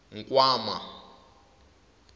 nkwama